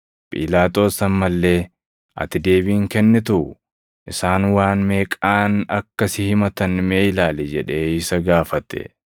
Phiilaaxoos amma illee, “Ati deebii hin kennituu? Isaan waan meeqaan akka si himatan mee ilaali” jedhee isa gaafate.